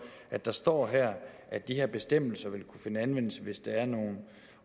at der står her at de her bestemmelser vil kunne finde anvendelse hvis der er nogen